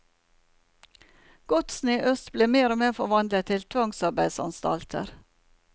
Godsene i øst ble mer og mer forvandlet til tvangsarbeidsanstalter.